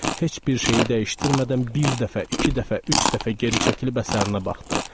Heç bir şeyi dəyişdirmədən bir dəfə, iki dəfə, üç dəfə geri çəkilib əsərinə baxdı.